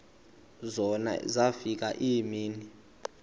zona zafika iimini